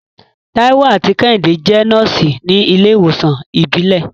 Taiwo àti Kehinde jẹ́ nọ́ọ̀sì ní ilé ìwòsàn ìbílẹ̀.